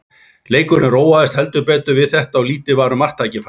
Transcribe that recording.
Leikurinn róaðist heldur betur við þetta og lítið var um marktækifærin.